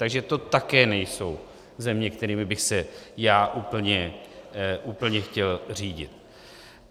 Takže to také nejsou země, kterými bych se já úplně chtěl řídit.